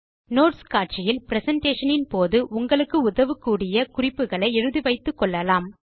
notes காட்சியில் presentation போது உங்களுக்கு உதவக்கூடிய குறிப்புகளை எழுதி வைத்துக்கொள்ளலாம்